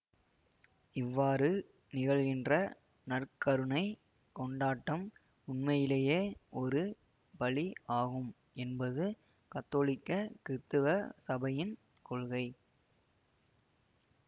இவ்வாறு நிகழ்கின்ற நற்கருணைக் கொண்டாட்டம் உண்மையிலேயே ஒரு பலி ஆகும் என்பது கத்தோலிக்க கிறித்தவ சபையின் கொள்கை